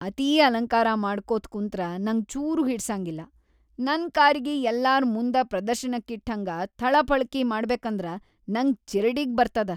ಅತೀ ಅಲಂಕಾರ ಮಾಡ್ಕೋತ್‌ ಕುಂತ್ರ ನಂಗ‌ ಚೂರೂ ಹಿಡಸಂಗಿಲ್ಲಾ. ನನ್‌ ಕಾರಿಗಿ ಯಲ್ಲಾರ್‌ ಮುಂದ ಪ್ರದರ್ಶನಕ್ಕಿಟ್ಹಂಗ ಥಳಕಪಳಕಿ ಮಾಡ್ಬೇಕಂದ್ರ ನಂಗ ಚಿರಡಿಗ್‌ ಬರ್ತದ.